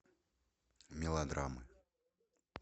мелодрамы